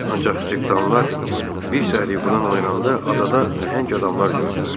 Ancaq cırtdanlar bir səhər yuxudan oyananda adada nəhəng adamlar gördülər.